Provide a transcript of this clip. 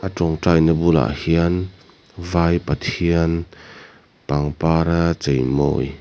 ṭawngtaina bulah hian vai pathian pangpara cheimawi--